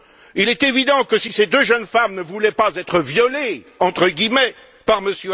Il est évident que si ces deux jeunes femmes ne voulaient pas être violées, entre guillemets, par M.